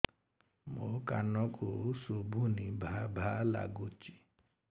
ମୋ କାନକୁ ଶୁଭୁନି ଭା ଭା ଲାଗୁଚି